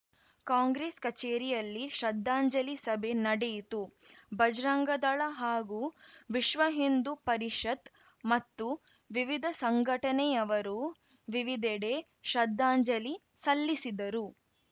ಕಾಂಗ್ರೆಸ್‌ ಕಚೇರಿಯಲ್ಲಿ ಶ್ರದ್ಧಾಂಜಲಿ ಸಭೆ ನಡೆಯಿತು ಭಜರಂಗದಳ ಹಾಗೂ ವಿಶ್ವಹಿಂದೂ ಪರಿಷತ್‌ ಮತ್ತು ವಿವಿಧ ಸಂಘಟನೆಯವರು ವಿವಿಧೆಡೆ ಶ್ರದ್ದಾಂಜಲಿ ಸಲ್ಲಿಸಿದರು